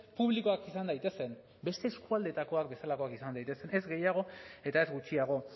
publikoak izan daitezen beste eskualdetakoak bezalakoak izan daitezen ez gehiago eta ez gutxiago